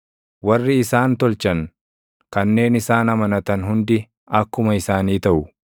Warri isaan tolchan kanneen isaan amanatan hundi akkuma isaanii taʼu.